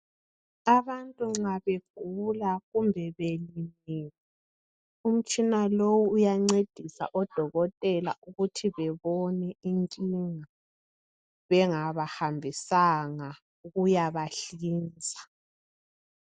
Abantu nxa begula kumbe belimele, umtshina lowu uyancedisa odokotela ukuthi bebone inkinga bengabahambisanga ukuyabahlinza.